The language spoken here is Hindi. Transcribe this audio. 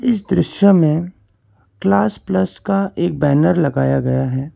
इस दृश्य में क्लास प्लस का एक बैनर लगाया गया है।